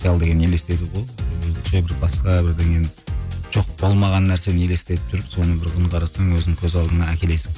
қиял деген елестету ғой өзінше бір басқа бірдеңені жоқ болмаған нәрсені елестетіп жүріп соны бір күні қарасаң өзің көз алдыңа әкелесің